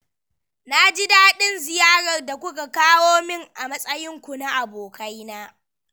Na ji daɗin ziyarar da kuka kawo min a matsainku na abokaina.